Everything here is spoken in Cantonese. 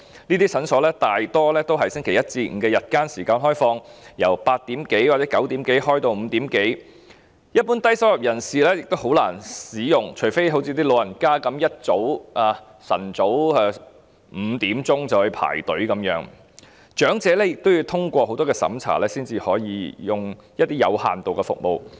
這些診所大多是星期一至星期五的日間時間開放，由早上8時多或9時多開放至下午5時多，一般低收入人士亦很難使用，除非像長者般一大清早5時便到場排隊，但長者亦要通過很多審查才可以使用一些有限度的服務。